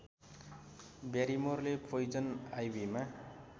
ब्यारिमोरले poison आइभीमा